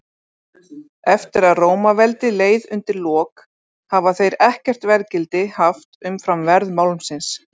Eftir að Rómaveldi leið undir lok hafa þeir ekkert verðgildi haft umfram verð málmsins.